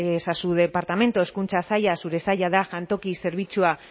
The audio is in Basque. es a su departamento hezkuntza saila zure saila da jantoki zerbitzua